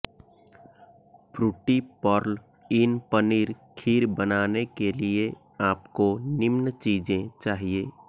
Frooti pearl in paneer kheer बनाने के लिए आपको निम्न चीजें चाहिए